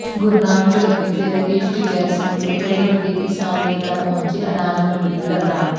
ਗੁਰਨਾਮ ਚੜੂੰਨੀ ਤੇ ਰਾਕੇਸ਼ ਟਿਕੈਤ ਸਮੇਤ ਕਈ ਵੱਡੇ ਕਿਸਾਨ ਨੇਤਾ ਪਹੁੰਚੇ ਅਨਾਜ ਮੰਡੀ ਕਰਨਾਲ